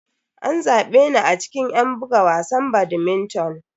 An zabe ni a cikin yan buga wasan badminton.